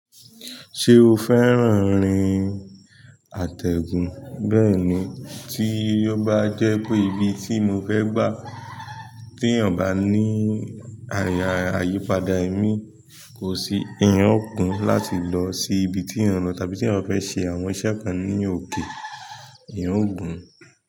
Ṣé o fẹ́ràn orin àtẹ̀gùn? Bẹ́ẹ̀ni, tí ó bá jẹ́ pé ibi tí mo fẹ́ gbà, tí èyàn bá ní àyípadà ẹ́mí, kò sí, èèyàn ó gún láti lọ sí ibi tí èyàn lọ tàbí tí èyàn fẹ́ ṣe àwọn iṣẹ́ kan ní òkè, eyàn ó gùn.